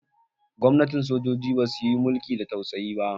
Gwamnatin sojoji basu yin mulki da tausayi.